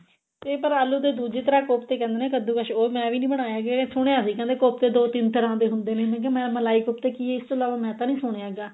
ਤੇ ਪਰ ਆਲੂ ਦੇ ਦੁੱਜੀ ਤਰ੍ਹਾਂ ਕੋਫਤੇ ਕਹਿੰਦੇ ਨੇ ਕੱਦੂਕਸ ਉਹ ਮੈਂ ਵੀ ਨਹੀਂ ਬਨਾਏ ਹੈਗੇ ਸੁਣਿਆ ਸੀ ਵੀ ਕੋਫਤੇ ਦੋ ਤਿੰਨ ਤਰ੍ਹਾਂ ਦੇ ਹੁੰਦੇ ਨੇ ਮੈਂ ਕਿਹਾ ਮੈਂ ਮਲਾਈ ਕੋਫਤਾ ਸੁਣਿਆ ਇਸ ਤੋਂ ਇਲਾਵਾ ਤਾਂ ਨਹੀਂ ਸੁਣਿਆ ਹੈਗਾ